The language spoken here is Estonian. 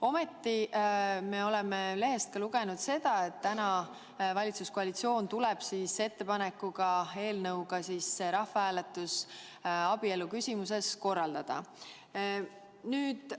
Ometi me oleme lehest lugenud, et täna tuleb valitsuskoalitsioon välja eelnõuga, mille kohaselt see rahvahääletus abielu küsimuses korraldatakse.